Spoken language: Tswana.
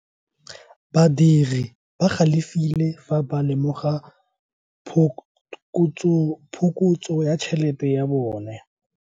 Badiri ba galefile fa ba lemoga phokotso ya tšhelete ya bone.